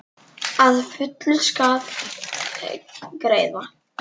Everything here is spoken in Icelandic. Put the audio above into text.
Að fullu skal greiða: